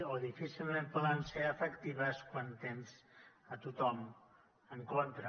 o difícilment poden ser efectives quan tens a tothom en contra